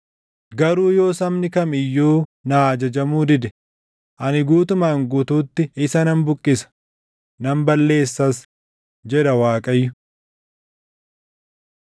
Garuu yoo sabni kam iyyuu naa ajajamuu dide, ani guutumaan guutuutti isa nan buqqisa; nan balleessas” jedha Waaqayyo.